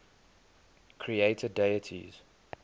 creator deities